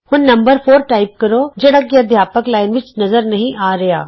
ਹੁਣ number 4 type ਕਰੋ ਜਿਹੜਾ ਕਿ ਅਧਿਆਪਕ ਲਾਈਨ ਵਿਚ ਨਜ਼ਰ ਨਹੀਂ ਆ ਰਿਹਾ